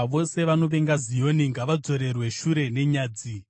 Vose vanovenga Zioni ngavadzorerwe shure nenyadzi.